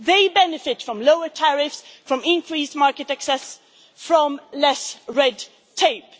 SMEs benefit from lower tariffs, from increased market access, from less red tape.